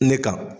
Ne ka